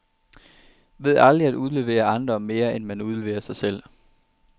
Ved aldrig at udlevere andre, mere end man udleverer sig selv.